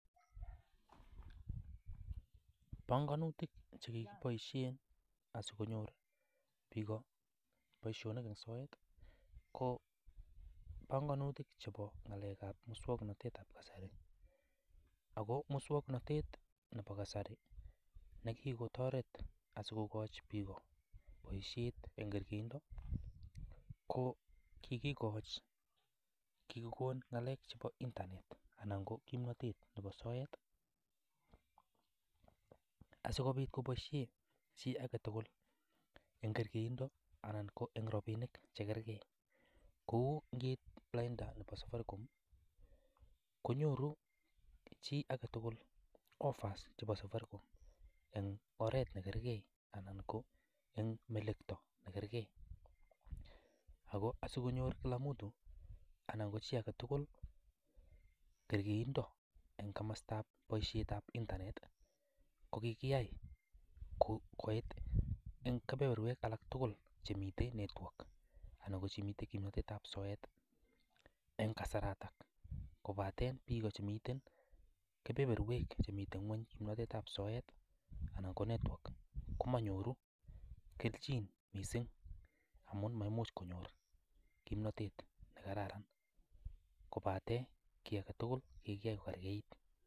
Panganutik chekikiboisien asikonyor boisionik en soet ko panganutik chebo ng'alek ab muswong'notet ab kasari, ako muswong'notet nebo kasari nikikotoret asikokochi biik boisiet en kergeindo ko kikikon ng'alek chebo internet anan ko kimnotet nebo soet ,asikobit koboisien chi agetugul en kergeindo anan ko en rabinik chegergei, kou nkeit lainda nebo safaricom ko nyoru chi agetugul offers chebo safaricom en oret negergei anan ko en melekto negergei, ako asikonyor kila mtu anan ko chi agetugul kergeindo en komostab boisiet ab internet ko kikiyai koit en kebeberwek alaktugul chemiten network anan ko chemiten kimnotet ab soet en kasaratok kobaten biik ko chemiten kebeberwek chemiten ng'weny kimnotet ab soet anan ko network komony'oru keljin missing amun maimuch kony'or kimnatet nekararan, kobaten kii agetugul ko kikiya kokergeit.